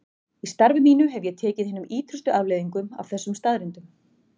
Í starfi mínu hef ég tekið hinum ýtrustu afleiðingum af þessum staðreyndum.